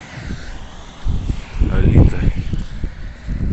алита